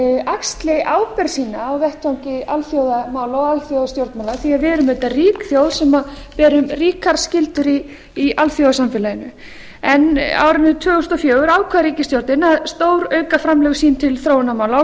axli ábyrgð sína á vettvangi alþjóðamála og alþjóðastjórnmála því að við eru auðvitað rík þjóð sem berum ríkar skyldur í alþjóðasamfélaginu á árinu tvö þúsund og fjögur ákvað ríkisstjórnin að stórauka framlög sín til þróunarmála á